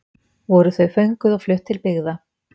Voru þau fönguð og flutt til byggða.